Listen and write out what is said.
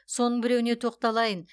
соның біреуіне тоқталайын